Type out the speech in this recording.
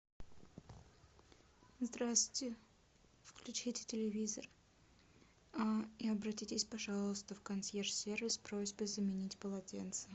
здравствуйте включите телевизор и обратитесь пожалуйста в консьерж сервис с просьбой заменить полотенца